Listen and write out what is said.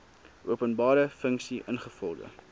openbare funksie ingevolge